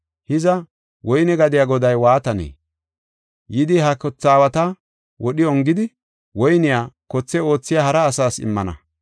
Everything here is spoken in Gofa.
“Hiza, woyne gadiya goday waatanee? Yidi he kothe aawata wodhi ongidi, woyniya kothe oothiya hara asas immana.